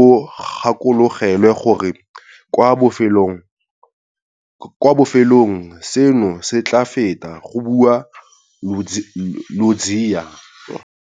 o gakologelwe gore kwa bofelong seno se tla feta, go bua Ludziya.